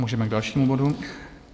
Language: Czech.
Můžeme k dalšímu bodu.